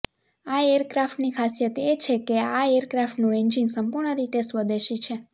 આ એરક્રાફ્ટની ખાસિયત એ છે કે આ એરક્રાફ્ટનું એન્જિન સંપૂર્ણ રીતે સ્વદેશી છે